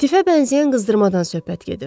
Tifə bənzəyən qızdırmadan söhbət gedir.